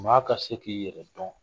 Maa ka se k'i yɛrɛ dɔn.